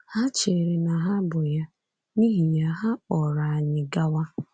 Ha chere na ha bụ ya, n’ihi ya, ha kpọrọ anyị gawa.